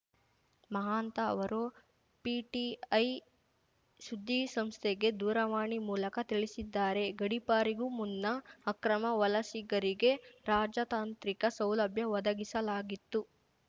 ಮಹಾಂತ ಅವರು ಪಿಟಿಐ ಸುದ್ದಿಸಂಸ್ಥೆಗೆ ದೂರವಾಣಿ ಮೂಲಕ ತಿಳಿಸಿದ್ದಾರೆ ಗಡೀಪಾರಿಗೂ ಮುನ್ನ ಅಕ್ರಮ ವಲಸಿಗರಿಗೆ ರಾಜತಾಂತ್ರಿಕ ಸೌಲಭ್ಯ ಒದಗಿಸಲಾಗಿತ್ತು